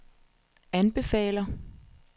anbefaler